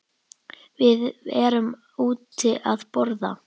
Við erum úti að borða.